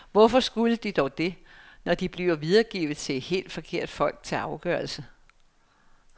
Hvorfor skulle de dog det, når de bliver videregivet til helt forkerte folk til afgørelse.